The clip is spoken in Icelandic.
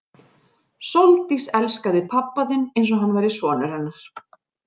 Sóldís elskaði pabba þinn eins og hann væri sonur hennar.